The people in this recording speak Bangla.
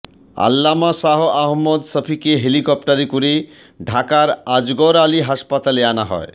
আল্লামা শাহ আহমদ শফীকে হেলিকপ্টারে করে ঢাকার আজগর আলী হাসপাতালে আনা হয়